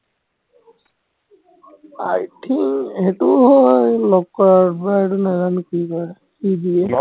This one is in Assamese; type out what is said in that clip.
I think সেইটো লগ কৰাৰ পৰা সেইটো নাজানো কি কৰে, কি দিয়ে